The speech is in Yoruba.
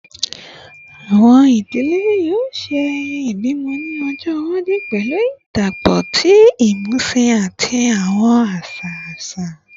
Awọn idile yoo ṣe ayẹyẹ ibimọ ni ọjọ iwaju pẹlu idapọpọ ti imusin ati awọn aṣa aṣa